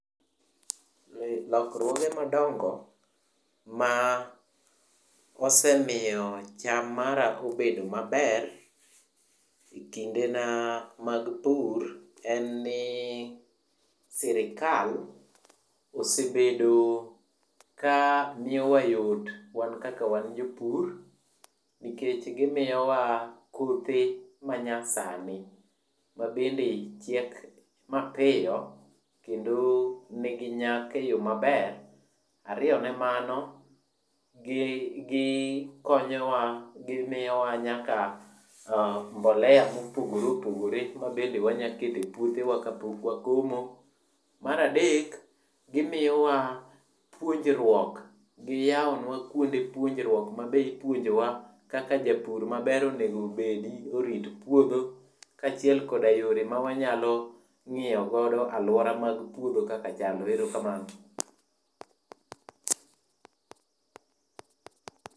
Lokruoge madongo ma osemiyo cham mara obedo maber e kindena mag pur en ni sirkal osebedo ka miyowa yot wan kaka wan jopur nikech gimiyowa kothe manyasani mabende chiek mapiyo kendo nigi nyak e yoo maber, Ariyo ne mano, gikonyowa gimiyowa nyaka mbolea ma opogore opogore mabende wanyalo keto e puothe ka pok wakomo. Mar adek gimiyowa puonjruok, giyawnwa kuonde puonjruok mabe ipuonjowa kaka japur maber onego obedi orit puodho kachiel kod yore ma wanyalo ngiyogo aluora mar puodho kaka chalo. Erokamano